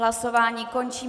Hlasování končím.